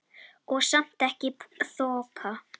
Og samt ekki þoka.